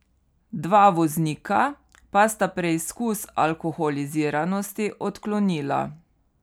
Dva voznika pa sta preizkus alkoholiziranosti odklonila.